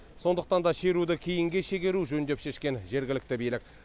сондықтан да шеруді кейінге шегеру жөн деп шешкен жергілікті билік